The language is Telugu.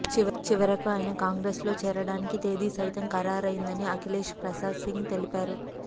చివరకు ఆయన కాంగ్రెస్లో చేరడానికి తేదీ సైతం ఖరారైందని అఖిలేష్ ప్రసాద్ సింగ్ తెలిపారు